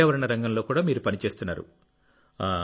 పర్యావరణ రంగంలో కూడా మీరు పని చేస్తున్నారు